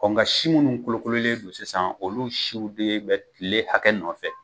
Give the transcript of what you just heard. Nka si minnu kolokololen don sisan, olu siw de bɛ kile hakɛ nɔ nɔfɛ.